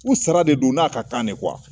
U sara de don n'a ka kan ne .